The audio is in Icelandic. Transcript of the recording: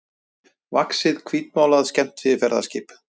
vaxið hvítmálað skemmtiferðaskip.